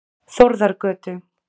Þórðargötu